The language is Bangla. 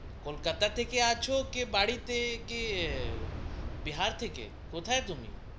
কলকাতা থেকে আছো কি বাড়িতে কি বিহার থেকে কোথায় তুমি